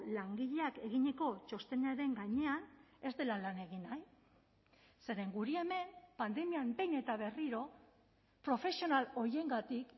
langileak eginiko txostenaren gainean ez dela lan egin nahi zeren guri hemen pandemian behin eta berriro profesional horiengatik